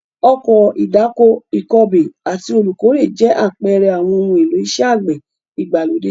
Ọkọ̀ ìdáko, ìkọbè àti olùkórè jẹ́ àpẹẹrẹ àwọn ohun èlò iṣẹ́ àgbẹ̀ ìgbàlódé.